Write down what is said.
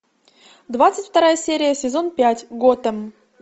двадцать вторая серия сезон пять готэм